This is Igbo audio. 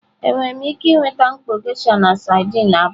Enwere m ike nweta mkpọ geisha na sardine abụọ?